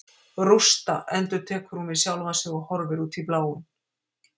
Rústa, endurtekur hún við sjálfa sig og horfir út í bláinn.